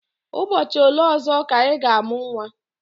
Ụbọchị ole ọzọ ka ị ga-amụ nwa?